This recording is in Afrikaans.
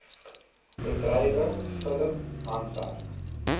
bedrywe film handwerk